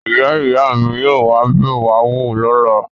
Ìyá-ìyá mi yóò wá bẹ̀ wá wò lọ́la.